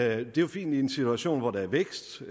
er jo fint i en situation hvor der er vækst